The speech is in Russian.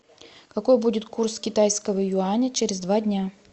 какой будет курс китайского юаня через два дня